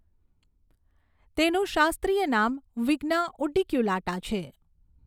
તેનું શાસ્ત્રીય નામ વિગ્ના ઉડીક્યુલાટા છે